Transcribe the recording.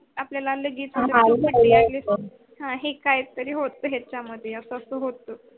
आपल्याल हा के तरी होत याच्या मध्ये अस होत.